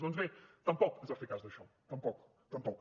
doncs bé tampoc es va fer cas d’això tampoc